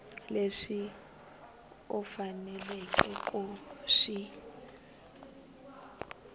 leswi u faneleke ku swi